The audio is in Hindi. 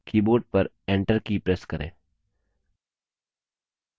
keyboard पर enter की press करें